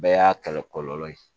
Bɛɛ y'a kɛlɛ kɔlɔlɔ ye